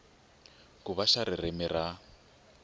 ku va xa ririmi ra